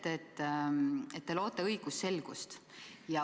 Te ütlete, et loote õigusselgust.